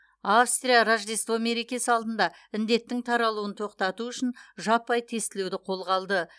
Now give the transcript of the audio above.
австрия рождество мерекесі алдында індеттің таралуын тоқтату үшін жаппай тестілеуді қолға алды